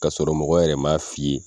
K'a sɔrɔ mɔgɔw yɛrɛ m'a f'i ye